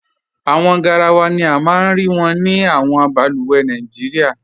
Awọn gáràwà ni a maa n rí wọn ni awọn bàlùwẹ̀ Nàìjíríà.